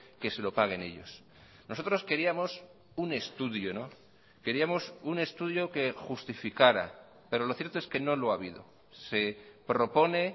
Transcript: que se lo paguen ellos nosotros queríamos un estudio queríamos un estudio que justificará pero lo cierto es que no lo ha habido se propone